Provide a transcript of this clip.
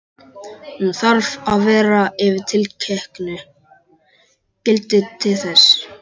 Hún þarf að vera yfir tilteknu gildi til þess.